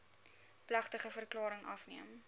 plegtige verklaring afgeneem